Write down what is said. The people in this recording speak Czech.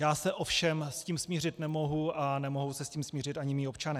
Já se ovšem s tím smířit nemohu a nemohou se s tím smířit ani mí občané.